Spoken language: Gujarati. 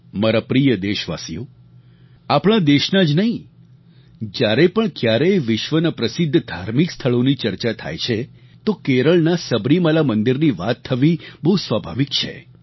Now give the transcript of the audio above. મારા પ્રિય દેશવાસીઓ આપણા દેશનાં જ નહીં જ્યારે પણ ક્યારેય વિશ્વના પ્રસિદ્ધ ધાર્મિક સ્થળોની ચર્ચા થાય છે તો કેરળના સબરીમાલા મંદિરની વાત થવી બહુ સ્વાભાવિક છે